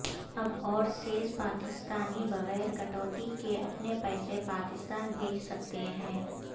اب اورسیز پاکستانی بغیر کٹوتی کے اپنے پیسے پاکستان بھیج سکتے ہیں